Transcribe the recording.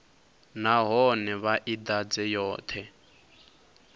nahone vha i ḓadze yoṱhe